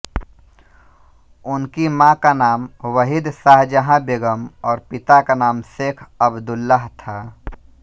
उनकी माँ का नाम वहीद शाहजहां बेगम और पिता का नाम शेख अबदुल्लाह था